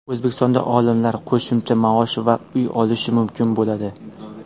O‘zbekistonda olimlar qo‘shimcha maosh va uy olishi mumkin bo‘ladi.